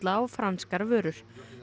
á franskar vörur